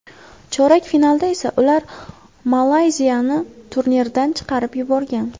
Chorak finalda esa ular Malayziyani turnirdan chiqarib yuborgan.